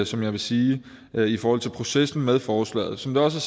som jeg vil sige i forhold til processen med forslaget som det også